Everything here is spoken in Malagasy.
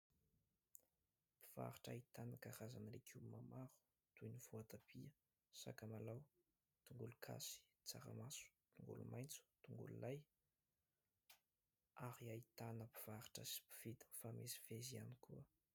Mpivarotra ahitana karazana legioma maro toy : ny voatabia, sakamalao, tongologasy, tsaramaso, tongolomaitso, tongolo "l'ail" ary ahitana mpivarotra sy mpividy mifamezivezy ihany koa.